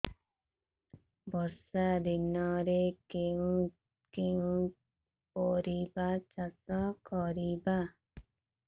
ବର୍ଷା ଦିନରେ କେଉଁ କେଉଁ ପରିବା ଚାଷ କରିବା